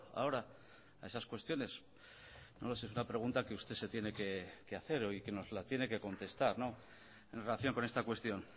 ahora a esas cuestiones no lo sé es una pregunta que usted se tiene que hacer y que nos la tiene que contestar en relación con esta cuestión